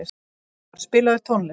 Elvar, spilaðu tónlist.